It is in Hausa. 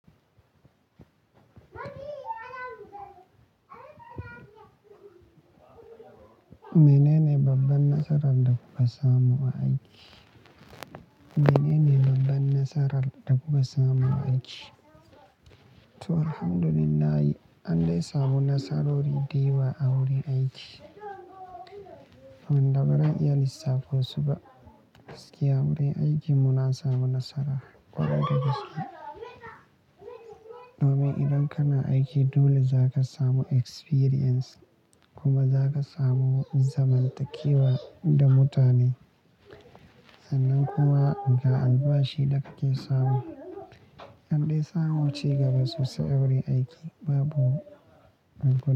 Menene babban nasarar da kuka samu a aiki? Menene babban nasarar da kuka samu a aiki? To, Alhamdulillah, an dai samu nasarori da yawa a wurin aiki, wanda ba za a iya lissafo su ba. Gaskiya wurin aikin mu na samu nasara ƙwarai da gaske. Domin idan kana aiki dole za ka samu experience kuma za ka samu zamantakewa da mutane. Sannan kuwa ga albashi da ka ke samu. An dai samu ci gaba sosai a wurin aiki, babu.